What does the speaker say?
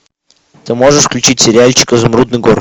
ты можешь включить сериальчик изумрудный город